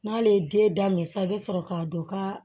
N'ale ye den daminɛ sa i bɛ sɔrɔ k'a dɔn ka